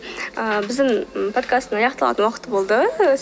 ыыы біздің подкасттың аяқталатын уақыты болды